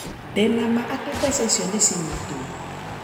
Ndi na ma ati mbeca icio ni cinyitwo